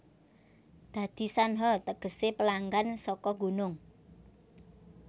Dadi Shanha tegese pelanggan saka gunung